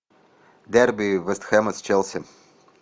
дерби вест хэма с челси